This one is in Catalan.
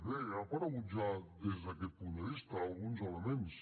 bé han aparegut ja des d’aquest punt de vista alguns elements